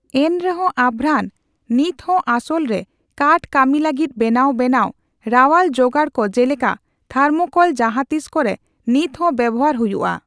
ᱮᱱᱨᱮᱦᱚᱸ ᱟᱵᱷᱨᱟᱱ ᱱᱤᱛᱦᱚᱸ ᱟᱥᱚᱞᱨᱮ ᱠᱟᱴᱷ ᱠᱟᱹᱢᱤ ᱞᱟᱹᱜᱤᱫ ᱵᱮᱱᱟᱣ ᱵᱮᱱᱟᱣ, ᱨᱟᱣᱟᱞ ᱡᱚᱜᱟᱲ ᱠᱚ ᱡᱮᱞᱮᱠᱟ ᱛᱷᱟᱨᱢᱚᱠᱚᱞ ᱡᱟᱦᱟᱸᱛᱤᱥ ᱠᱚᱨᱮ ᱱᱤᱛᱦᱚ ᱵᱮᱣᱦᱟᱨ ᱦᱩᱭᱩᱜᱼᱟ ᱾